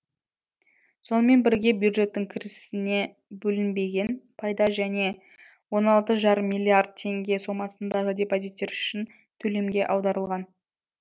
сонымен бірге бюджеттің кірісіне бөлінбеген пайда және он алты жарым миллиард теңге сомасындағы депозиттер үшін төлемге аударылған